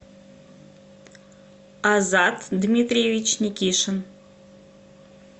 азат дмитриевич никишин